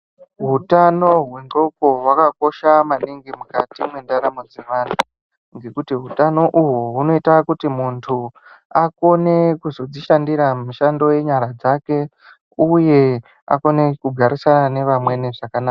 Hutano hwe ndxoko hwaka kosha maningi mukati me ndaramo dze vanhu ngekuti utano uhu huno ita kuti muntu akone kuzozvi shandira mishando ye nyara dzake uye akone ku garisana ne vamweni zvakanaka.